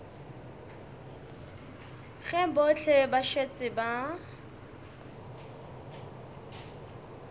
ge bohle ba šetše ba